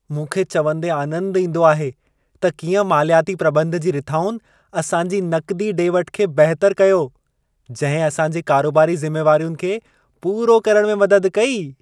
मूंखे चवंदे आनंदु ईंदो आहे त कीअं मालियाती प्रॿंध जी रिथाउनि असांजी नक़दी डे॒-वठु खे बहितरु कयो, जंहिं असां जे कारोबारी ज़िमेवारियुनि खे पूरो करण में मदद कई।